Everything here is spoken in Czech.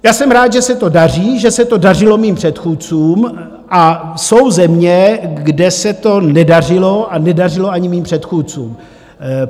Já jsem rád, že se to daří, že se to dařilo mým předchůdcům, a jsou země, kde se to nedařilo a nedařilo ani mým předchůdcům.